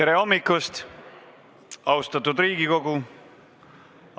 Tere hommikust, austatud Riigikogu!